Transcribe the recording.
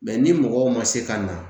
ni mɔgɔw ma se ka na